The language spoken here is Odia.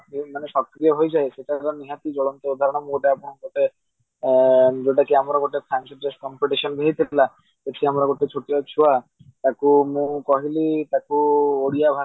ମାନେ ସକ୍ରିୟ ହେଇଯାଏ କାରଣ ମୁଁ ଗୋଟେ ଆପଣଙ୍କୁ ଆଁ ଯୋଉଟା କି ଆମର fancy dress competition ହେଇଥିଲା ସେଠୀ ଆମର ଗୋଟେ ଛୋଟିଆ ଛୁଆକୁ ମୁଁ କହିଲି ତାକୁ ଓଡିଆ